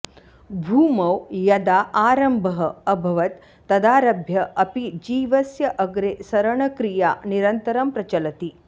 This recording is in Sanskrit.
भूमौ यदा आरम्भः अभवत् तदारभ्य अपि जीवस्य अग्रे सरणक्रिया निरन्तरं प्रचलति